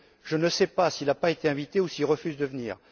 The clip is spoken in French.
Je ne sais pas s'il n'a pas été invité ou s'il refuse de venir.